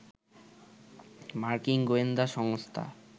মার্কিন গোয়েন্দা সংস্থা